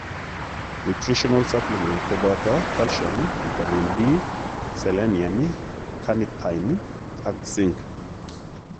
Nutritional supplementisiek kobooto calcium, vitamin D,selenium, carnitine ak zinc